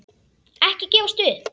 Ekki gefast upp!